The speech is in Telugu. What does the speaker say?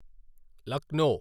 లక్నో